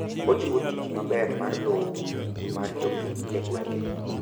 ojiwo tich maber mar lowo mar jopiny e gwenge